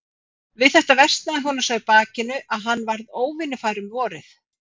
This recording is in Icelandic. Við þetta versnaði honum svo í bakinu, að hann varð óvinnufær um vorið.